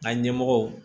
An ka ɲɛmɔgɔw